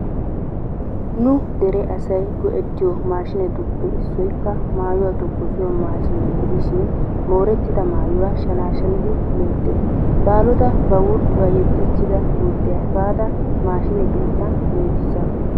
Nu dere asayi go'ettiyo maashinettuppe issoykka maayuwa tokkosiyo maashiniya gidishin moorettida maayuwa shanaashanidi loyttes. Baalota ba wurccuwa yeddiichchida gurddiya efaada maashine keettan loytissaasu.